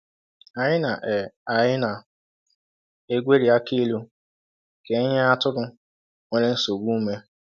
Anyị na è Anyị na è gweri akilu ka e nye atụrụ nwere nsogbu ume.